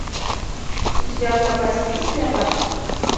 у тебя в запасе есть клеопатра